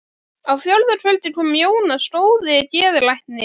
Á fjórða kvöldi kom Jónas góði geðlæknir.